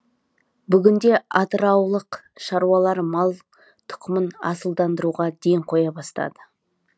бүгінде атыраулық шаруалар мал тұқымын асылдандыруға ден қоя бастады